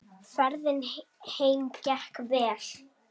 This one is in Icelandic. Ferðin heim gekk vel.